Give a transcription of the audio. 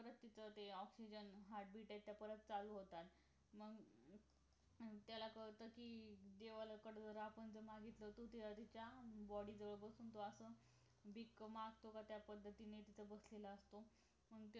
परत तिथं आहे ते oxygen heart beat आहेत त्या परत चालू होतात मग मग त्याला कळत कि देवाला कडे आपण जे मागितलं ते त्या body जवळ बसून भीक मागतो का त्या पद्धतीने तिथं बसलेला असतो